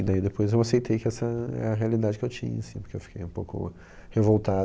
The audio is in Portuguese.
E daí depois eu aceitei que essa é a realidade que eu tinha, assim, porque eu fiquei um pouco revoltado.